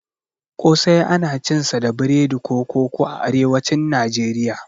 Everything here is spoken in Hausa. ƙosai ana cinsa da biredi ko koko a arewacin Nijeriya.